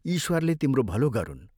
ईश्वरले तिम्रो भलो गरुन्।